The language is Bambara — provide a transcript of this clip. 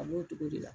A b'o cogo de la